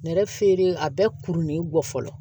Nɛrɛ feere a bɛ kurunnen bɔ fɔlɔ